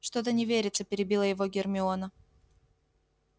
что-то не верится перебила его гермиона